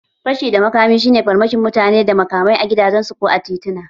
Fashi da makami shi ne farmakin mutane da makamai a gidajensu ko a tituna